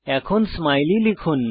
এখন স্মাইলি লিখুন